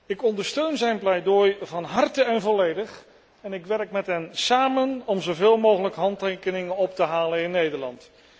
Ik ondersteun zijn pleidooi van harte en volledig en ik werk met hem samen om zo veel mogelijk handtekeningen op te halen in Nederland.